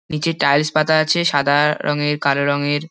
নীচে টাইলস পাতা আছে সাদা রঙের কালো রঙের।